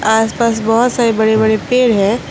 आस पास बहोत सारे बड़े बड़े पेड़ है।